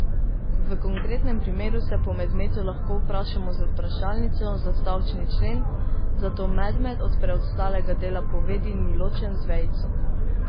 V konkretnem primeru se po medmetu lahko vprašamo z vprašalnico za stavčni člen, zato medmet od preostalega dela povedi ni ločen z vejico.